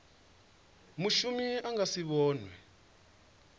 mushumi a nga si vhonwe